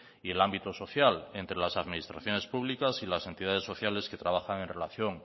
y el ámbito social entre las administraciones públicas y las entidades sociales que trabajan en relación